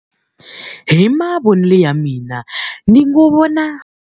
Hi mavonelo ya mina ni ngo vona.